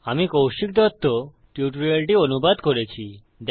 আমি কৌশিক দত্ত টিউটোরিয়ালটি অনুবাদ করছি